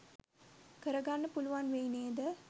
කරගන්න පුලුවන් වෙයි නේද?